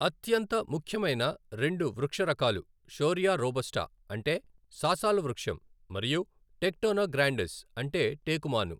అత్యంత ముఖ్యమైన రెండు వృక్ష రకాలు షోరియా రోబస్టా అంటే సాసాలవృక్షం మరియు టెక్టోనా గ్రాండిస్ అంటే టేకు మాను.